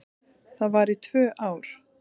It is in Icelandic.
Það var í tvö ár.